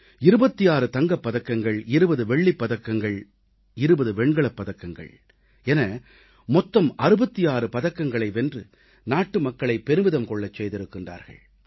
26 தங்கப் பதக்கங்கள் 20 வெள்ளிப் பதக்கங்களும் 20 வெண்கலப் பதக்கங்களும் என மொத்தம் 66 பதக்கங்களை வென்று நாட்டு மக்களை பெருமிதம் கொள்ளச் செய்திருக்கிறார்கள்